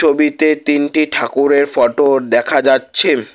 তিনটি ঠাকুরের ফটো ডেখা যাচ্ছেন।